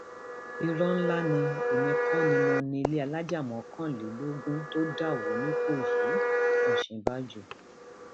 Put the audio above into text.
ìró ńlá ni èmi kò ní mọ ní ilé alájà mọkànlélógún tó dà wọ nìkéyíòsínbàjọ